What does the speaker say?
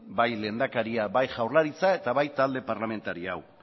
bai lehendakaria bai jaurlaritza eta bai talde parlamentari hau